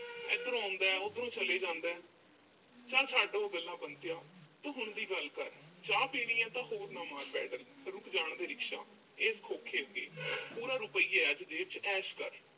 ਇਧਰੋਂ ਆਉਂਦਾ, ਉਧਰੋਂ ਚਲੇ ਜਾਂਦਾ। ਚੱਲ ਛੱਡ ਉਹ ਗੱਲਾਂ ਬੰਤਿਆ। ਤੂੰ ਹੁਣ ਦੀ ਗੱਲ ਕਰ। ਚਾਹ ਪੀਣੀ ਆ ਤਾਂ ਹੋਰ ਨਾ ਮਾਰ pedal ਰੁਕ ਜਾਣ ਦੇ rickshaw ਇਸ ਖੋਖੋ ਉੱਤੇ ਪੂਰਾ ਰੁਪਈਆ ਅੱਜ ਜੇਬ 'ਚ ਐਸ਼ ਕਰ।